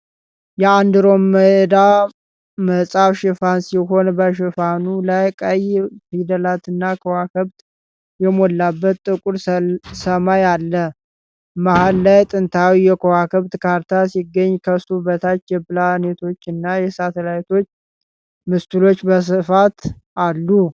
የ"እንዲሮሜዳ" መጽሐፍ ሽፋን ሲሆን በሽፋኑ ላይ ቀይ ፊደላትና ከዋክብት የሞላበት ጥቁር ሰማይ አለ። መሃል ላይ ጥንታዊ የከዋክብት ካርታ ሲገኝ፣ ከሱ በታች የፕላኔቶችና የሳተላይት ምስሎች በስፋት አሉ።